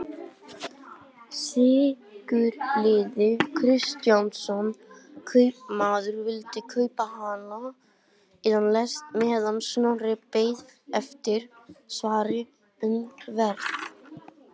Sigurliði Kristjánsson kaupmaður vildi kaupa hana en lést meðan Snorri beið eftir svari um verð.